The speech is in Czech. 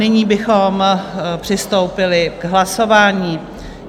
Nyní bychom přistoupili k hlasování.